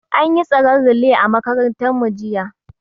An yi tsaren relay a makarantar mu jiya